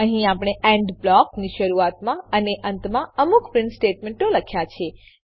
અહીં આપણે એન્ડ બ્લોકની શરૂઆતમાં અને અંતમાં અમુક પ્રીંટ સ્ટેટમેંટો લખેલા છે